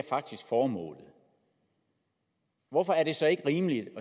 formålet hvorfor er det så ikke rimeligt at